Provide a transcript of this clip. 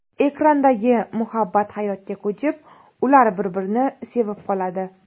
Ekrandagi muhabbat hayotga ko‘chib, ular bir-birini sevib qoladi.